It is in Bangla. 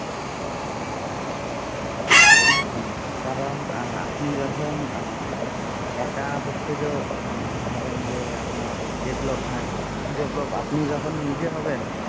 হম কারণ আপনি যখন আহ একা হচ্ছে যে মানে ধরেন যে আপনার development develop আপনি যখন নিজে হবেন